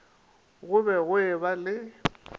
go be go eba le